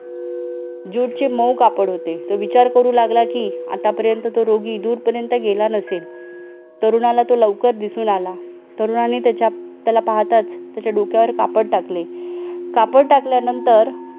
Jute चे मऊ कापड होते तो विचार करू लागला की आतापर्यंत तर रोगी दूर पर्यंत गेला नसेल तरुणाला तो लवकर दिसून आला तरुणाने त्याच्या त्याला पाहताच त्याच्या डोक्यावर कापड टाकले कापड टाकल्यानंतर